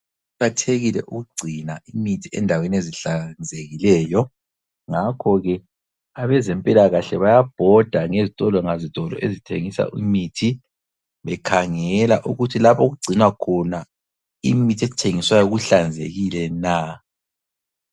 Kuqakathekile ukugcina imithi endaweni ezihlanzekileyo, ngakho ke abezempilakahle bayabhoda ngezitolo ngazitolo ezithengisa imithi bekhangela ukuthi lapho okugcinwa khona imithi ethengiswayo kuhlanzekile na!